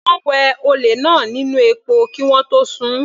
Wọ́n wẹ olè náà nínú epo kí wọ́n tó sun-ùn.